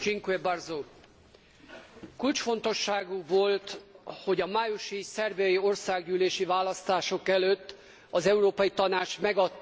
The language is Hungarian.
Kulcsfontosságú volt, hogy a májusi szerbiai országgyűlési választások előtt az Európai Tanács megadta a tagjelölt státuszt Szerbiának.